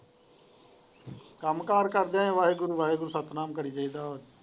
ਕੰਮ ਕਾਰ ਕਰਦਿਆਂ ਵੀ ਵਾਹਿਗੁਰੂ ਵਾਹਿਗੁਰੂ ਸਤਿਨਾਮ ਕਰੀ ਜਾਈਦਾ।